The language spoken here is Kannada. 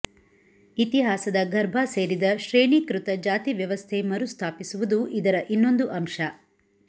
ಇತಿಹಾಸದ ಗರ್ಭ ಸೇರಿದ ಶ್ರೇಣೀಕೃತ ಜಾತಿ ವ್ಯವಸ್ಥೆ ಮರುಸ್ಥಾಪಿಸುವುದು ಇದರ ಇನ್ನೊಂದು ಅಂಶ